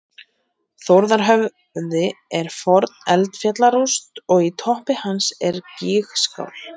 Þórðarhöfði er forn eldfjallarúst og í toppi hans er gígskál.